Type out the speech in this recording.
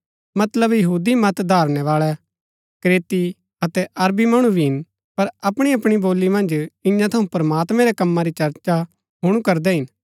मतलब यहूदी मत धारणैवाळै क्रेती अतै अरबी मणु भी हिन पर अपणी अपणी बोली मन्ज इन्या थऊँ प्रमात्मैं रै कम्मा री चर्चा हुणु करदै हिन